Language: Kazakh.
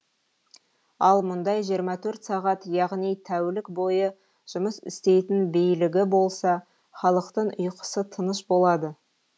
ал мұндай жиырма төрт сағат яғни тәулік бойы жұмыс істейтін билігі болса халықтың ұйқысы тыныш болады